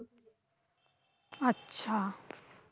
আচ্ছা।